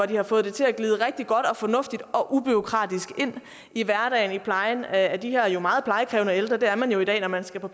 de har fået det til at glide rigtig godt og fornuftigt og ubureaukratisk ind i hverdagen i plejen af de her meget plejekrævende ældre det er man jo i dag når man skal på